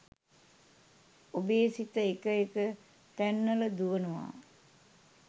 ඔබේ සිත එක එක තැන්වල දුවනවා.